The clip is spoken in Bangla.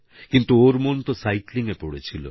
কিন্তু ওর মন তো সাইক্লিংএ পড়ে ছিল